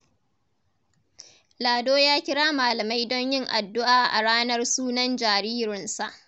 Lado ya kira malamai don yin addu’a a ranar sunan jaririnsa.